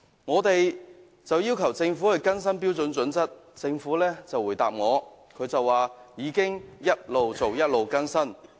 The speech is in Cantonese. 我們要求政府更新《規劃標準》，政府就回答我說當局已一邊做一邊更新。